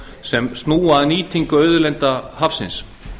sem snúa að nýtingu auðlinda hafsins